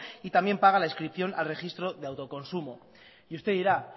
y también paga la inscripción al registro de autoconsumo y usted dirá